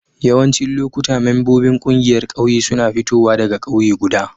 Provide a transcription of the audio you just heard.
Yawancin lokuta membobin kungiyar ƙauye suna fitowa daga kauye guda.